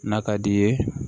N'a ka d'i ye